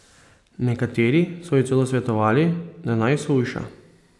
Nekateri so ji celo svetovali, da naj shujša.